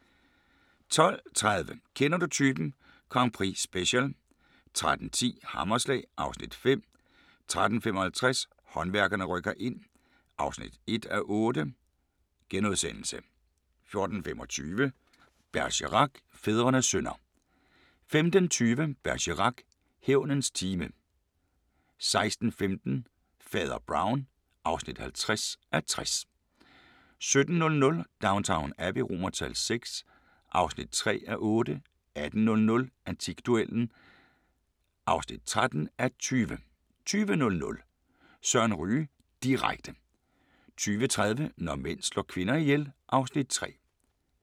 12:30: Kender du typen? Grand Prix-special 13:10: Hammerslag (Afs. 5) 13:55: Håndværkerne rykker ind (1:8)* 14:25: Bergerac: Fædrenes synder 15:20: Bergerac: Hævnens time 16:15: Fader Brown (50:60) 17:00: Downton Abbey VI (3:8) 18:00: Antikduellen (13:20) 20:00: Søren Ryge direkte 20:30: Når mænd slår kvinder ihjel (Afs. 3)